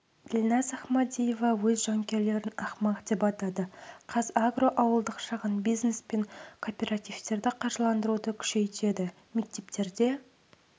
ділназ ахмадиева өз жанкүйерлерін ақымақ деп атады қазагро ауылдық шағын бизнес пен кооперативтерді қаржыландыруды күшейтеді мектептерде